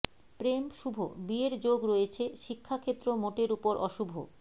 প্রেম শুভ বিয়ের যোগ রয়েছে শিক্ষাক্ষেত্র মোটের উপর অশুভ